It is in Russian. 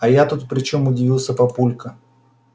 а я тут при чем удивился папулька